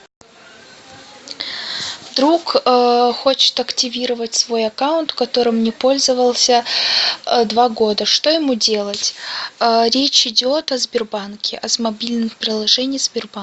друг хочет активировать свой аккаунт которым не пользовался два года что ему делать речь идет о сбербанке о мобильном приложении сбербанка